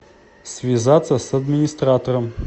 связаться с администратором